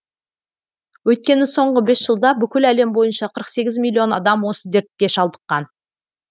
өйткені соңғы бес жылда бүкіл әлем бойынша қырық сегіз миллион адам осы дертке шалдыққан